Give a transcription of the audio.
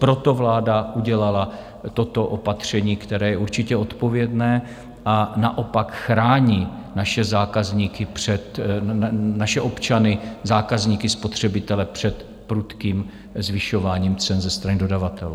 Proto vláda udělala toto opatření, které je určitě odpovědné, a naopak chrání naše občany, zákazníky, spotřebitele, před prudkým zvyšováním cen ze strany dodavatelů.